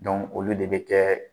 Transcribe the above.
olu de bɛ kɛ